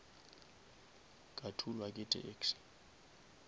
ka thulwa ke taxi